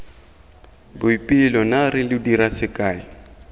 boipelo naare lo dira sekae